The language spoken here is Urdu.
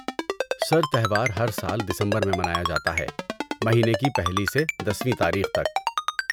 سر، تہوار ہرسال دسمبر میں منایا جاتا ہے، مہینے کی پہلی سے دسویں تاریخ تک۔